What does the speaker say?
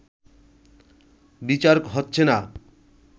বিচার হচ্ছে না